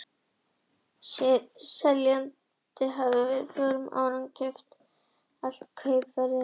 Seljandinn hafði fyrir fjórum árum keypt en aldrei greitt allt kaupverðið.